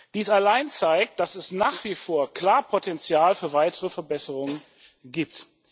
Dies allein zeigt, dass es nach wie vor klar Potenzial für weitere Verbesserungen gibt.